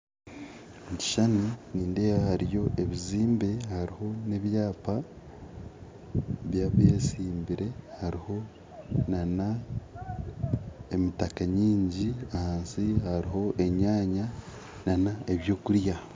Omu kishushani nindeeba hariyo ebizimbe hariho nebyapa by'abesimbire hariho n'emitaka nyingi ahansi hariho enyanya n'ebyokurya